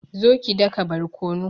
zo ki daka barkonu